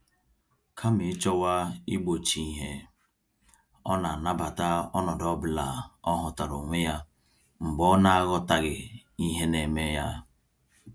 Kama ịchọwa igbochi ìhè, ọna anabata ọnọdụ ọbula ọhụtara onwe ya mgbe ọnaghọtaghị ihe neme ya.